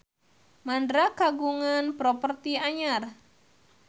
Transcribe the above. Mandra kagungan properti anyar